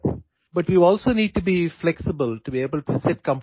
ছয়সাত ঘণ্টা ধৰি তীব্ৰ মানসিক কাম কৰিবলৈ কষ্টসহিষ্ণুতা থাকিব লাগিব